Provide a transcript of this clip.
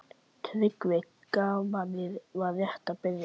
TRYGGVI: Gamanið var rétt að byrja.